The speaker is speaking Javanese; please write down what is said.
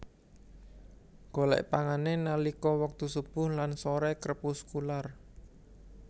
Golèk pangané nalika wektu subuh lan soré krepuskular